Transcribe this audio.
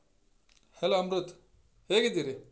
Hello Amrit ಹೇಗಿದ್ದೀರಿ?